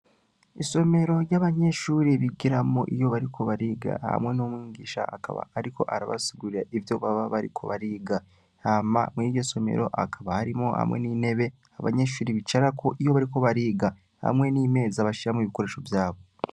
Isomero ry'abanyeshuri bigeramo iyo bariko bariga hamwe n'umwingisha akaba, ariko arabasugurira ivyo baba bariko bariga hama muy'iryo somero akaba harimo hamwe n'intebe abanyeshuri bicarako iyo bariko bariga hamwe n'imezi abashiramo ibikoresho vyabo.